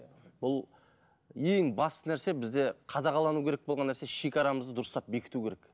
бұл ең басты нәрсе бізде қадағалануы керек болған нәрсе шегарамызды дұрыстап бекіту керек